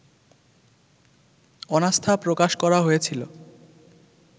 অনাস্থা প্রকাশ করা হয়েছিল